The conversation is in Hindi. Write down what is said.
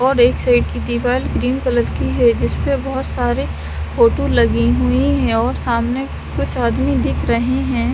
और एक साईड की दीवार ग्रीन कलर की है जिसपे बोहोत सारे फोटो लगे हुए है और सामने कुछ आदमी दिख रहे है।